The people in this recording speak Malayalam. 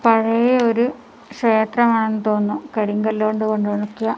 പഴയ ഒരു ക്ഷേത്രം ആണെന്ന് തോന്നുന്നു കരിങ്കല്ല് കൊണ്ട് കൊണ്ട് ഉണ്ടാക്കിയ--